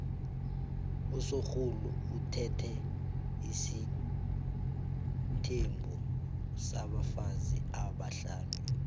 usorhulu uthethe isithembu sabafazi abahlanu